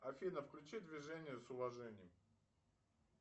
афина включи движение с уважением